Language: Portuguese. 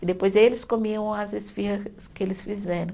E depois eles comiam as esfirras que eles fizeram.